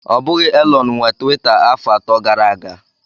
Ọ bụghị Elon nwe Tiwita afọ atọ gara aga.